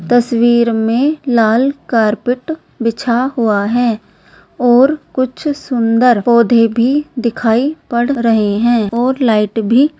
तस्वीर में लाल कार्पेट बिछा हुआ है और कुछ सुंदर पौधे भी दिखाई पड़ रहे हैं और लाइट भी --